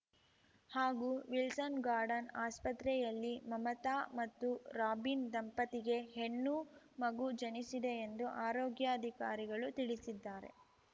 ಹಾಗೂ ವಿಲ್ಸನ್‌ಗಾರ್ಡನ್‌ ಆಸ್ಪತ್ರೆಯಲ್ಲಿ ಮಮತಾ ಮತ್ತು ರಾಬಿನ್‌ ದಂಪತಿಗೆ ಹೆಣ್ಣು ಮಗು ಜನಿಸಿದೆ ಎಂದು ಆರೋಗ್ಯಾಧಿಕಾರಿಗಳು ತಿಳಿಸಿದ್ದಾರೆ